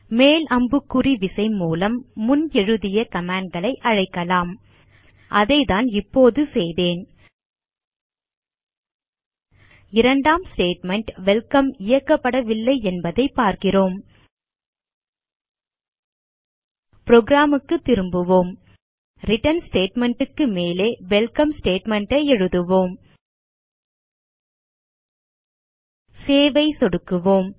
மேல் அம்புக்குறி விசை மூலம் முன் எழுதிய கமாண்ட் களை அழைக்கலாம் அதைதான் இப்போது செய்தேன் இரண்டாம் ஸ்டேட்மெண்ட் வெல்கம் இயக்கப்படவில்லை என்பதைப் பார்க்கிறோம் புரோகிராம் க்கு திரும்புவோம் ரிட்டர்ன் ஸ்டேட்மெண்ட் க்கு மேலே வெல்கம் ஸ்டேட்மெண்ட் ஐ எழுதுவோம் சேவ் ஐ சொடுக்குவோம்